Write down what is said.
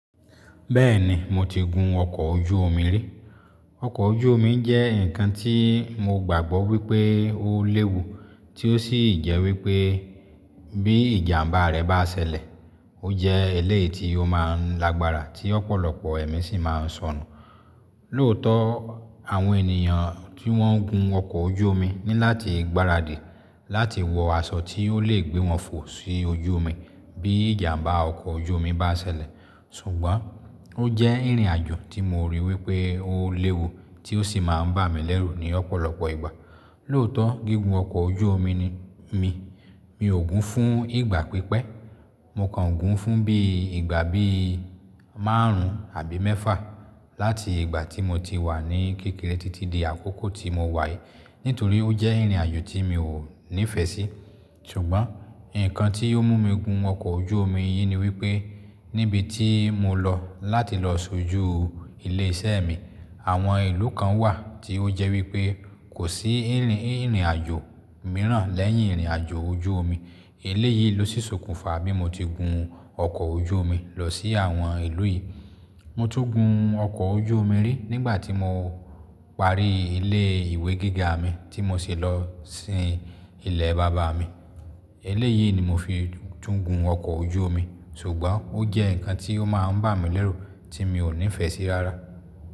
Bẹ́ẹ̀ni, mo ti gun ọkọ̀ ojú omi rí. Ọkọ̀ ojú omi jẹ́ ǹkan tí mo gbàgbọ́ wípé ó léwu tí ó sì jẹ́ wípé bí ìjàmbá rẹ̀ bá ṣẹlẹ̀, ó jẹ́ eléyìí tí ó máa ń lágbára tí ọ̀pọ̀lọpọ̀ ẹ̀mí sì máa ń sọnù. Lóòótọ́ àwọn ènìyàn tí wọ́n ń gun ọkọ̀ ojú omi ní láti gbaradì láti wọ aṣọ tí ó lè gbé wọn fò sí ojú omi bí ìjàmbá ọkọ̀ ojú omi bá ṣẹlẹ̀. Ṣùgbọ́n ó jẹ́ ìrìn-àjò tí mo rí wípé ó léwu tí ó sì máa ń bà mí lérù ní ọ̀pọ̀lọpọ̀ ìgbà. Lóòótọ́ gígùn ọkọ̀ ojú omi mi, mi ò gun fún ìgbà pípẹ́. Mo kàn gun fún bí ìgbà bí márùn-ún àbí mẹ́fà láti ìgbà tí mo ti wà ní kékeré títí di àkókò tí mo wáyé nítorí ó jẹ́ ìrìn-àjò tí mi ò nífẹ̀ẹ́ sí. Ṣùgbọ́n ǹkan tí ó mú mi gun ọkọ̀ ojú omi yìí ni wípé níbi tí mo lọ láti lọ sójú ilé iṣẹ́ mi àwọn ìlú kan wà tí ó jẹ́ wípé kò sí ìrìn-àjò mìíràn lẹ́yìn ìrìn-àjò ojú omi. Eléyìí ló sí sokùnfa bí mo ti gun ọkọ̀ ojú omi lọ sí àwọn ìlú yìí. Mo tún gun ọkọ̀ ojú omi rí nígbà tí mo parí ilé ìwé gíga mi tí mo ṣe lọ sin ilẹ̀ bàbá mi. Eléyìí ni mo fi tún gun ọkọ̀ ojú omi, ṣùgbọ́n ó jẹ́ ǹkan tí ó máa ń bà mí lérù tí mi ò nífẹ̀ẹ́ sí rárá.